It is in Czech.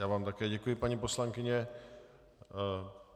Já vám také děkuji, paní poslankyně.